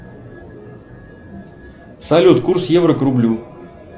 салют курс евро к рублю